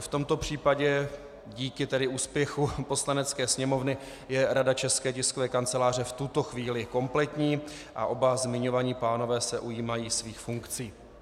I v tomto případě díky tedy úspěchu Poslanecké sněmovny je Rada České tiskové kanceláře v tuto chvíli kompletní a oba zmiňovaní pánové se ujímají svých funkcí.